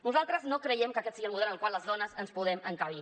nosaltres no creiem que aquest sigui el model en el qual les dones ens podem encabir